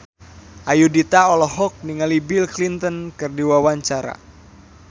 Ayudhita olohok ningali Bill Clinton keur diwawancara